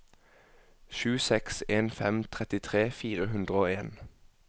sju seks en fem trettitre fire hundre og en